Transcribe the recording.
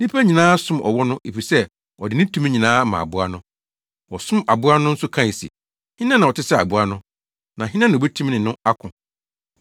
Nnipa nyinaa som ɔwɔ no efisɛ ɔde ne tumi nyinaa ama aboa no. Wɔsom aboa no nso kae se, “Hena na ɔte sɛ aboa no? Na hena na obetumi ne no ako?”